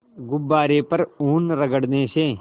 गुब्बारे पर ऊन रगड़ने से